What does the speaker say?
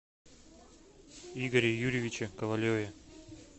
игоре юрьевиче ковалеве